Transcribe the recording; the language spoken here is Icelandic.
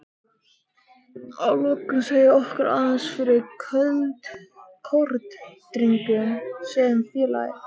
Að lokum segðu okkur aðeins frá Kórdrengjum sem félagi?